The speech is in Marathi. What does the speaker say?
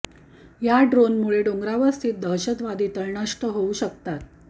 या ड्रोनमुळे डोंगरांवर स्थित दहशतवादी तळ नष्ट होऊ शकतात